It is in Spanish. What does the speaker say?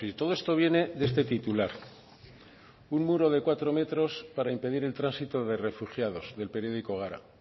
todo esto viene de este titular un muro de cuatro metros para impedir el tránsito de refugiados del periódico gara